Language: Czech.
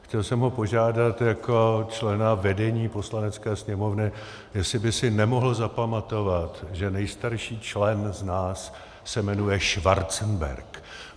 Chtěl jsem ho požádat jako člena vedení Poslanecké sněmovny, jestli by si nemohl zapamatovat, že nejstarší člen z nás se jmenuje Schwarzenberg.